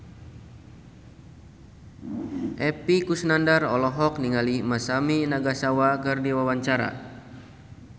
Epy Kusnandar olohok ningali Masami Nagasawa keur diwawancara